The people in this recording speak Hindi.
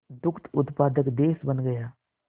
दुग्ध उत्पादक देश बन गया